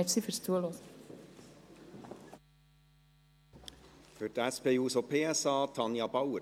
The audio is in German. Für die SP-JUSO-PSA-Fraktion: Tanja Bauer.